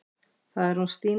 Það er hún Stína.